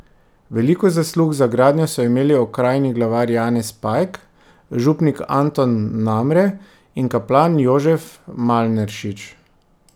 Veliko zaslug za gradnjo so imeli okrajni glavar Janez Pajk, župnik Anton Namre in kaplan Jožef Malneršič.